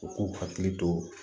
U k'u hakili to